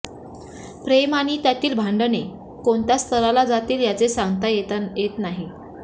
प्रेम आणि त्यातील भांडणे कोणत्या स्थराला जातील याचे सांगता येत नाही